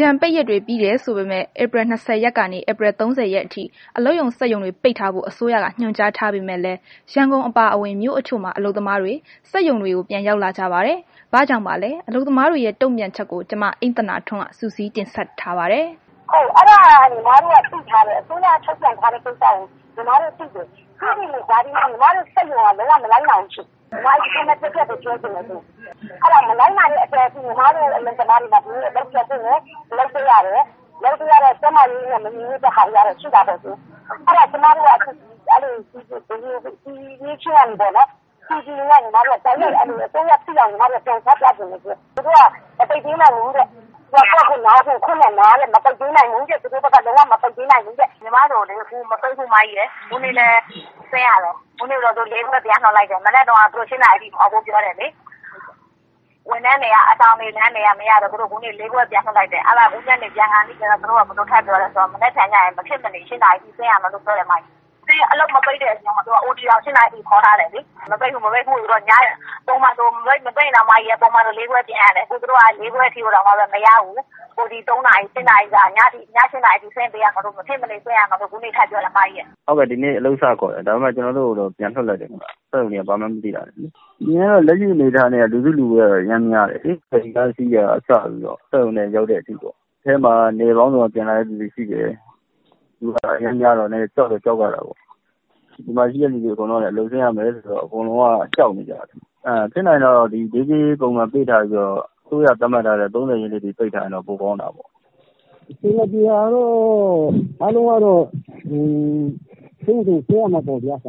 ကြန်ပိတ်ရက်တွေ ပြီးတယ်ဆိုပေမယ့် ဧပြီလ ၂၀ ကနေ ၃၀ ရက်နေ့အထိ အလုပ်ရုံ ၊ စက်ရုံတွေ ပိတ်ထားဖို့ အစိုးရက ညွှန်ကြားထားပေမယ့် ရန်ကုန်အပါအဝင် မြို့အချို့မှာ အလုပ်သမားတွေ စက်ရုံ တွေကို ပြန်ရောက်လာပါတယ်။ ဘာကြောင့်ပါလဲ။ အလုပ်သမားတွေ တုံ့ပြန်ချက်ကို မ အိမ့်သန္တာထွန်း က စုစည်း တင်ပြမှာပါ။ “အစိုးရ ထုတ်ပြန်ချက် အဲဒါကတော့ ညီမတို့ သိထားတယ်။ ဒါပေမယ့် ညီမတို့ စက်ရုံက လုံး၀ မလိုက်နာဘူးဖြစ်နေတယ်။ အဲဒီလိုမလိုက်နာတဲ့အတွက် ညီမတို့ အလုပ်သမားတွေ ဒီနေ့ အလုပ်ပြန်လာပြီး အလုပ်လုပ်ပေးရတယ်။ ကျန်းမာရေးနဲ့ မညီညွတ်တာတွေတော့ရှိတာပေါ့နော်။ အဲဒါကို ကျမတို့က အစိုးရသိအောင် ချပြချင်တယ်။ အလုပ်ရှင်တွေက မပိတ်ပေးနိုင်ဘူးတဲ့ ကိုယ့်ဟာကိုယ်လာ သူတို့ဘက်ကတော့ မပိတ်ပေးနိုင်ဘူးတဲ့။” “ညီမတို့ကို မပိတ်ဘူး အမ ၊ အခုအထိလည်း ဆင်းရတုန်း ညနေ ၄ နာရီမှ ပြန်လွတ်တယ်။ မနက်တုန်းကတော့ သူတို့ ၈ နာရီအထိ ဆင်းဖို့ပြောတယ်။ အဆောင်နေ ဝန်ထမ်းတွေက မရတော့ ၄ ခွဲမှာ ပြန်လွှတ်လိုက်တယ်။ အခုညနေ ပြန်ခါနီးကျတော့ သူတို့ ဘယ်လို ထပ်ပြောသလဲဆိုတော့ မနက်ဖြန် မဖြစ်မနေ ၈ နာရီအထိ ဆင်းရမယ်လို့ ပြောတယ်။ အလုပ်မပိတ်တဲ့အပြင် OT ကို ၈ နာရီအထိ ခေါ်ထားတယ်။ ပုံမှန်ဆိုရင် မပိတ်ရင်တောင် ၄ ခွဲပြန်ရတယ် ။ အခုက သူတို့က ၄ ခွဲတောင်မရဘူး OT နောက်ထပ် ၃ နာရီ ၊ ည၈ နာရီအထိ မဖြစ်မနေ ဆင်းရမယ်လို့ အခုထပ်ပြောတယ်။” “ဟုတ်ကဲ့ ဒီနေ့ အလုပ်စခေါ်တယ် ၊ ကျနော်တို့ ကိုတော့ ပြန်လွတ်လိုက်တယ် ။ လက်ရှိအနေအထား နဲ့ကတော့ လူစုလူဝေးကတော့ အရမ်းများတယ်လေ။ ဖယ်ရီကားစီးတာကနေ စပြီးတော့ စက်ရုံရောက်တဲ့အထိပေါ့။ စက်ရုံထဲမှာ နယ်ပေါင်းစုံကနေ ပြန်လာသူတွေ ရှိတယ်။ လူအရမ်းများတော့ ကြောက်တော့ ကြောက်ရတာပေါ့။ ဒီမှာ ရှိတဲ့လူတွေကလည်း အလုပ်ဆင်းရမယ်ဆိုတော့ အကုန်လုံးကတော့ ကြောက်နေကြတယ်။ ဖြစ်နိုင်ရင်တော့ နေ့ကြေး ပုံမှန်ပေးထားပြီးတော့ အစိုးရက သတ်မှတ်ထားတဲ့ ၃၀ ရက်နေ့အထိ ပိတ်ထားရင်တော့ ပိုကောင်းတာပေါ့။” “အဆင်မပြေတာကတော့ တယောက်နဲ့တယောက် စိတ်တွေ ကြောက်နေတယ်။ အကြော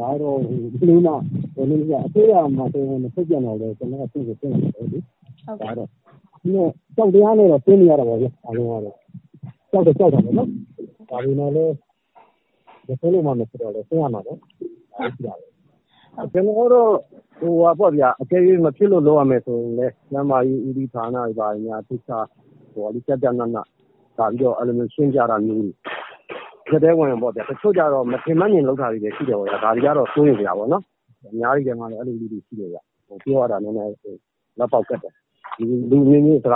က်တရားနဲ့ ဆင်းနေတာပေါ့လေ အားလုံးကတော့ ။ ကြောက်တော့ကြောက်တယ် ဒါပေမယ့်လည်း မဆင်းလို့မဖြစ်တော့ ဆင်းရမှာပဲ။” “ကျနော်ကတော့ အကယ်၍ မဖြစ်လို့ လုပ်ရမယ်ဆိုရင်လည်း ကျန်းမာရေးဦးစီးဌာကနေလာပြီးတော့ ကျကျနန လာရှင်းပြတာတွေ။ တချို့ကျတော့လည်း မထင်မဲ့မြင်လုပ်တာတွေလည်း ရှိတယ်။ ဒါတွေ ကတော့ စိုးရိမ်စရာပေါ့နော် အဲလိုမျိုးတွေလည်း ရှိတယ်ဗျ။ ပြောရတာ နည်းနည်း ခက်တယ်။ ကျနော်ကတော့ ဘယ်သူ့မှကို အ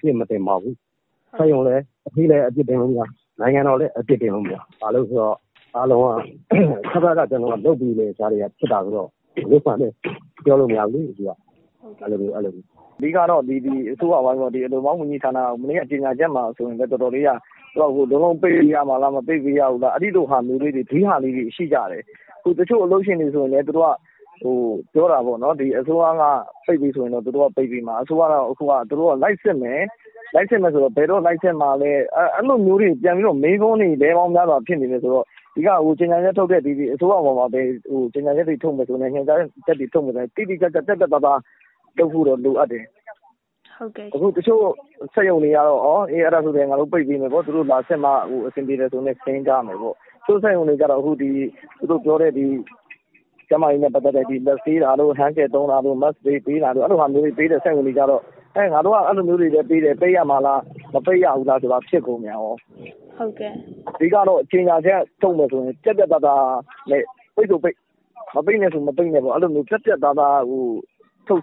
ပြစ်မတင်ပါဘူး၊ စက်ရုံလည်း အပြစ်တင်လို့မရ၊ နိုင်ငံတော်ကိုလည်း အပြစ်တင်လို့မရ ဘာဖြစ်လို့လဲဆိုတော့ အဘက်ဘက်က လုပ်ပေးနေတဲ့ ကြားထဲက ဖြစ်တာဆိုတော့ ဘာကိုမှလည်း ပြောလို့မရဘူးလေ။” “အဓိကတော့ အစိုးရအပိုင်းပေ့ါ ဒီအလုပ်သမား ဝန်ကြီးဌာန မနေ့က ကြေညာချက်မှာက လုံး၀ ပိတ်ရမှာလည်း မပိတ်ရဘူးလား အဲလိုမျိုး ဒွဟလေးတွေ ရှိတယ်။ တချို့အလုပ်ရှင်တွေ ဆိုရင်လည်း ပြောတာပေါ့နော် အစိုးရက ပိတ်ပြီဆိုရင် သူတို့က ပိတ်ပေးမယ် ။ အစိုးရက လိုက်စစ်မယ်၊ ဘယ်တော့ လိုက်စစ်မှာလည်း အဲလိုမျိုးတွေ ပြန်ပြီးတော့ မေးခွန်းများစွာဖြစ်နေတယ်ဆိုတော့ အဓိက ကြေညာချက်ထုတ်တဲ့ အစိုးရ မှာလည်း ကြေညာချက်တွေ ညွန်ကြားချက်တွေ ထုတ်မယ်ဆိုရင်လည်း တိတိကျကျ ပြတ်ပြတ်သားသား လုပ်ဖို့ လိုအပ်တယ်။ တချို့စက်ရုံတွေကတော့ အဲဒါဆိုရင်လည်း ပိတ်ပေးမယ်ပေါ့ သူတို့ လာစစ်လို့ အဆင်ပြေတယ်ဆိုရင် ဆင်းမယ်ပေါ့ ၊ တချို့စက်ရုံတွေကတော့ သူတို့ပြောတဲ့ ကျန်းမာရေးနဲ့ ပတ်သက်တဲ့ လက်ဆေးတာတို့hand gel သုံးတာတို့ ၊ mask တွေပေးတာတို့ အဲလိုမျိုးတွေ ပေးတဲ့ စက်ရုံတွေကတော့ ငါတို့က အဲလိုမျိုးတွေလည်းပေးတယ် ပိတ်ရမှာလား၊ မပိတ်ရဘူးလား ဆိုတာမျိုးတွေ ဖြစ်ကုန်ရော။ အဓိကတော့ ကြေညာချက်တွေထုတ်မယ်ဆိုရင်လည်း ပြတ်ပြတ်သားသား နဲ့ ပိတ်ဆိုရင်ပိတ် ၊ မပိတ်နဲ့ဆိုရင် မပိတ်နဲ့ပေါ့ ပြတ်ပြတ်သားသား ထုတ်